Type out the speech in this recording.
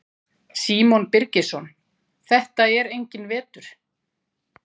Símon Birgisson: Þetta er enginn vetur?